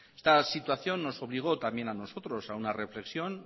esta situación nos obligó también a nosotros a una reflexión